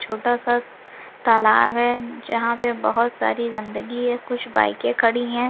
छोटा-स तालाब है जहां पर बहुत सारी गंदगी है और कुछ बईके खड़ी हैं।